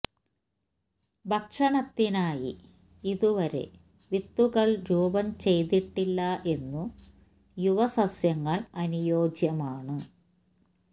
ഭക്ഷണത്തിനായി ഇതുവരെ വിത്തുകൾ രൂപം ചെയ്തിട്ടില്ല എന്നു യുവ സസ്യങ്ങൾ അനുയോജ്യമാണ്